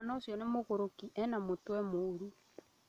Mwana ũcio nĩ mũgũrũki, ena mũtwe mũru